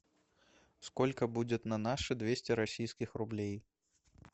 сколько будет на наши двести российских рублей